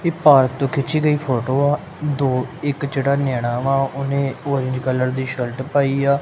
ਏਹ ਪਾਰਕ ਤੋ ਖਿੱਚੀ ਗਈ ਫੋਟੋ ਆ ਦੋ ਇੱਕ ਜਿਹੜਾ ਨੈਯਾਣਾ ਵਾ ਉਹਨੇ ਔਰੇਂਜ ਕਲਰ ਦੀ ਸ਼ਰਟ ਪਾਈ ਆ।